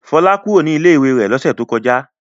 Fọlá kúrò ní ilé-ìwé rẹ̀ lọ́sẹ̀ tó kọjá.